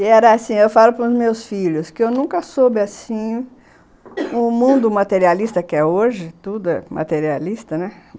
E era assim, eu falo para os meus filhos, que eu nunca soube assim, o mundo materialista que é hoje, tudo é materialista, né?